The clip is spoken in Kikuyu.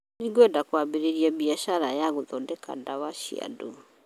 Nĩngwenda kwambĩrĩria biacara ya gũthondeka ndwara cĩa andũ